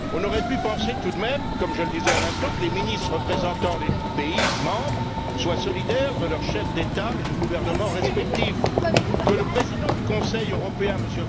Nous aurions pu penser, tout de même, comme je le disais à l'instant, que les ministres représentant les États membres soient solidaires de leur chef d'État ou de gouvernement respectif, que le président du Conseil européen, M.